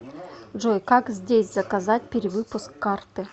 джой как здесь заказать перевыпуск карты